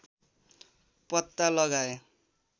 पत्ता लगाए